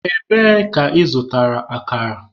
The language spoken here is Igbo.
Ebee ka ị zụtara akara?